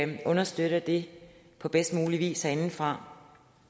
vi understøtter det på bedst mulig vis herindefra